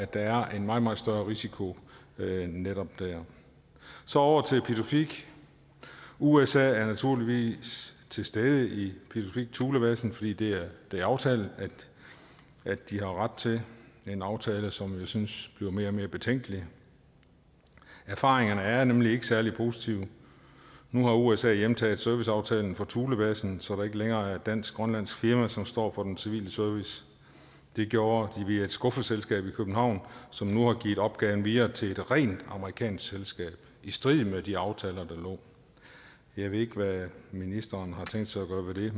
der er en meget meget større risiko netop der så over til pituffik usa er naturligvis til stede i pituffik thulebasen fordi det er aftalen at de har ret til en aftale som jeg synes bliver mere og mere betænkelig erfaringerne er nemlig ikke særlig positive nu har usa hjemtaget serviceaftalen for thulebasen så der ikke længere er et dansk grønlandsk firma som står for den civile service det gjorde de via et skuffeselskab i københavn som nu har givet opgaven videre til et rent amerikansk selskab i strid med de aftaler der lå jeg ved ikke hvad ministeren har tænkt sig at gøre ved